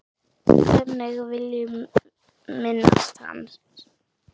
Þannig viljum minnast hans.